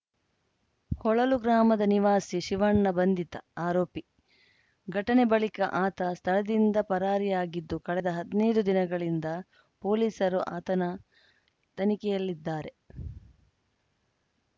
ಹೊಳಲು ಗ್ರಾಮದ ನಿವಾಸಿ ಶಿವಣ್ಣ ಬಂಧಿತ ಆರೋಪಿ ಘಟನೆ ಬಳಿಕ ಆತ ಸ್ಥಳದಿಂದ ಪರಾರಿಯಾಗಿದ್ದು ಕಳೆದ ಹದ್ನೈದು ದಿನಗಳಿಂದ ಪೊಲೀಸರು ಆತನ ತನಿಖೆಯಲ್ಲಿದ್ದಾರೆ